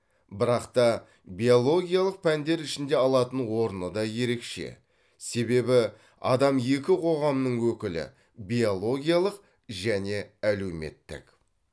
бірақта биологиялық пәндер ішінде алатын орыны де ерекше себебі адам екі қоғамның өкілі биологиялық және әлеуметтік